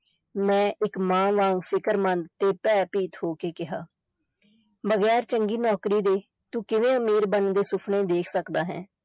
ਮੈਂ ਇਕ ਮਾਂ ਵਾਂਗ ਫ਼ਿਕਰਮੰਦ ਤੇ ਭੈ-ਭੀਤ ਹੋ ਕੇ ਕਿਹਾ ਵਗ਼ੈਰ ਚੰਗੀ ਨੌਕਰੀ ਦੇ ਤੂੰ ਕਿਵੇਂ ਅਮੀਰ ਬਣਨ ਦੇ ਸੁਪਨੇ ਦੇਖ ਸਕਦਾ ਹੈ।